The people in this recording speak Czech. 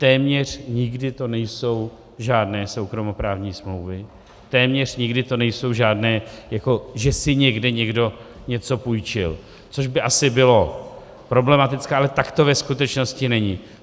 Téměř nikdy to nejsou žádné soukromoprávní smlouvy, téměř nikdy to nejsou žádné, jako že si někde někdo něco půjčil, což by asi bylo problematické, ale tak to ve skutečnosti není.